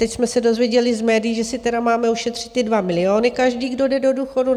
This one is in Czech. Teď jsme se dozvěděli z médií, že si tedy máme ušetřit ty 2 miliony každý, kdo jde do důchodu.